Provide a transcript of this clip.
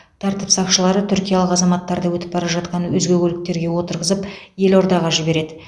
тәртіп сақшылары түркиялық азаматтарды өтіп бара жатқан өзге көліктерге отырғызып елордаға жібереді